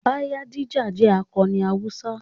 Bayadija jẹ́ akọni Hausa.